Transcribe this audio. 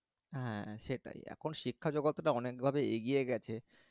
হ্যাঁ, সেটাই এখন শিক্ষা জগৎটা অনেকভাবে এগিয়ে গেছে